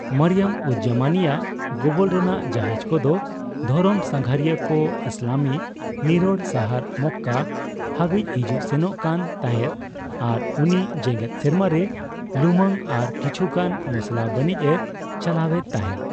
ᱢᱚᱨᱤᱭᱚᱢᱼᱩᱡᱼᱡᱟᱢᱟᱱᱤ ᱟᱜ ᱜᱚᱵᱚᱞ ᱨᱮᱱᱟᱜ ᱡᱟᱦᱟᱡᱽ ᱠᱚᱫᱚ ᱫᱷᱚᱨᱚᱢ ᱥᱟᱸᱜᱷᱟᱨᱤᱭᱟᱹ ᱠᱚ ᱤᱥᱞᱟᱢᱤ ᱱᱤᱨᱚᱲ ᱥᱟᱦᱟᱨ ᱢᱚᱠᱠᱟ ᱦᱟᱹᱵᱤᱪ ᱦᱤᱡᱩᱜ ᱥᱮᱱᱚᱜ ᱠᱟᱱ ᱛᱟᱸᱦᱮᱫ ᱟᱨ ᱩᱱᱤ ᱡᱮᱸᱜᱮᱛ ᱥᱤᱢᱟᱹ ᱨᱮ ᱞᱩᱢᱟᱹᱝ ᱟᱨ ᱠᱤᱪᱷᱩ ᱜᱟᱱ ᱢᱚᱥᱞᱟ ᱵᱟᱱᱤᱡᱽ ᱮ ᱪᱟᱞᱟᱣᱮᱫ ᱛᱟᱸᱦᱮᱫ ᱾